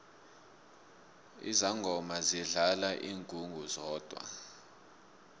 izangoma zidlala ingungu zodwa